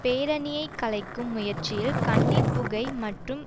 பேரணியை கலைக்கும் முயற்சியில் கண்ணீர் புகை மற்றும்